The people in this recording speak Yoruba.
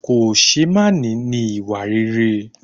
Kòṣeémání ni ìwà rere